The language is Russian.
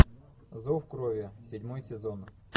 зов крови седьмой сезон